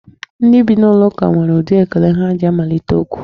Ndị bi n'ụlọ ụka nwere ụdị ekele ha ji amalite okwu.